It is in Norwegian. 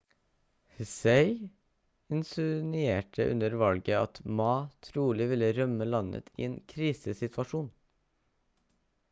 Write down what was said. hsieh insinuerte under valget at ma trolig ville rømme landet i en krisesituasjon